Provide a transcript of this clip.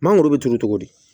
Mangoro bɛ turu cogo di